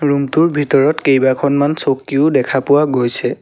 Room টোৰ ভিতৰত কেইবাখনমান চকীও দেখা পোৱা গৈছে।